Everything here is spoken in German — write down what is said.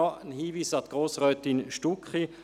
Noch ein Hinweis an Grossrätin Stucki: